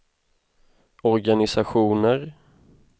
organisationer